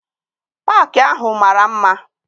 Paakị ahụ mara mma.